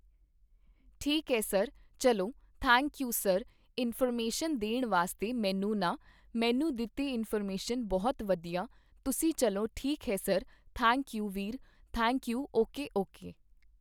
ਠੀਕ ਐ ਸਰ ਚੱਲਵੋਂ ਥੈਂਕ ਯੂ ਸਰ ਇਨਫੋਰਮੇਸ਼ਨ ਦੇਣ ਵਾਸਤੇ ਮੈਨੂੰ ਨਾ ਮੈਨੂੰ ਦਿੱਤੀ ਇਨਫੋਰਮੇਸ਼ਨ ਬਹੁਤ ਵਧੀਆ ਤੁਸੀਂ ਚੱਲੋਂ ਠੀਕ ਹੈ ਸਰ ਥੈਂਕ ਯੂ ਵੀਰ ਥੈਂਕ ਯੂ ਓਕੇ ਓਕੇ